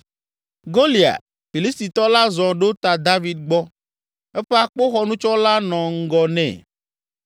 Goliat, Filistitɔ la zɔ ɖo ta David gbɔ, eƒe akpoxɔnutsɔla nɔ ŋgɔ nɛ.